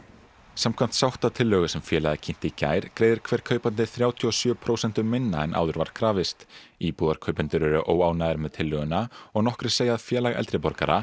samkvæmt sáttatillögu sem félagið kynnti í gær greiðir hver kaupandi þrjátíu og sjö prósentum minna en áður var krafist íbúðarkaupendur eru óánægðir með tillöguna og nokkrir segja að Félag eldri borgara